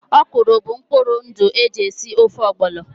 Ọ̀kwụ́rụ́ bụ mkpụrụ ndụ e ji esi ofe ogbono